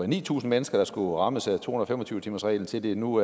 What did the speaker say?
ni tusind mennesker der skulle rammes af to hundrede og fem og tyve timersreglen til det nu